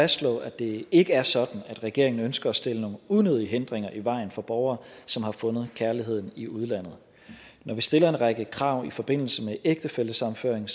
fastslå at det ikke er sådan at regeringen ønsker at stille nogen unødige hindringer i vejen for borgere som har fundet kærligheden i udlandet når vi stiller en række krav i forbindelse med ægtefællesammenføring